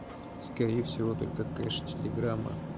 скорее всего только кэш телеграмма